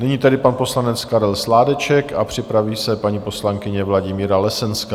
Nyní tedy pan poslanec Karel Sládeček a připraví se paní poslankyně Vladimíra Lesenská.